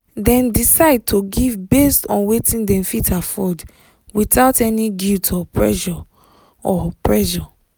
dem decide to give based on wetin dem fit afford without any guilt or pressure. or pressure.